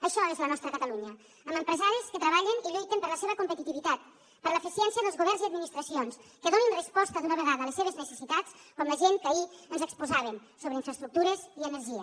això és la nostra catalunya amb empresaris que treballen i lluiten per la seva competitivitat per l’eficiència dels governs i administracions que donin resposta d’una vegada a les seves necessitats com la gent que ahir ens exposaven sobre infraestructures i energia